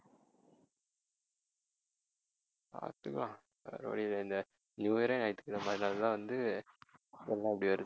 பார்த்துக்கலாம் வேற வழி இல்லல நியூ இயரே ஞாயிற்றுக்கிழமை, அதனால தான் வந்து இது எல்லாம் இப்படி வருது